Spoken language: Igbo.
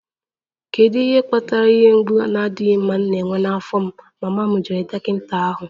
Kedu ihe kpatara ihe mgbu na-adịghị mma m na-enwe n'afọ m?, mama m jụrụ dọkịta ahụ.